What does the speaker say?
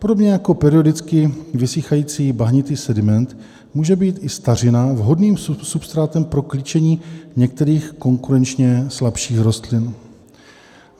Podobně jako periodicky vysychající bahnitý sediment může být i stařina vhodným substrátem pro klíčení některých konkurenčně slabších bylin.